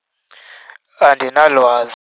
Andinalwazi.